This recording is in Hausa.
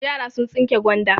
Yara sun tsinke gwanda.